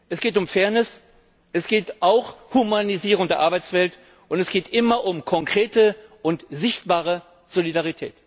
Es geht um Fairness, es geht auch um Humanisierung der Arbeitswelt, und es geht immer um konkrete und sichtbare Solidarität!